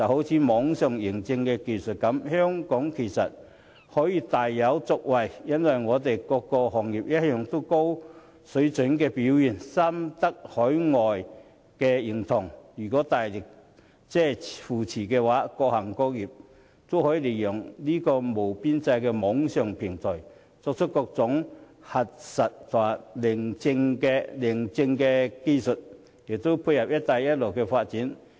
以網上認證技術為例，香港其實大有可為，因為本港各行各業一貫的高水準表現深得海外認同，如有政府大力扶持，各行各業均可利用無邊際的網上平台以各種核實或認證技術提供服務，亦可配合"一帶一路"的發展。